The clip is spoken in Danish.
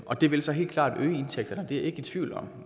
og det vil så helt klart øge indtægterne det er jeg ikke i tvivl om